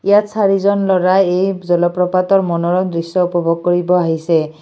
ইয়াত চাৰিজন ল'ৰাই এই জলপ্ৰপাতৰ মনোৰম দৃশ্য উপভোগ কৰিব আহিছে।